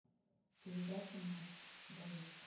передача матч боец